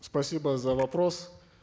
спасибо за вопрос